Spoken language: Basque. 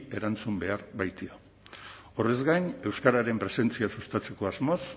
erantzun behar baitio horrez gain euskararen presentzia sustatzeko asmoz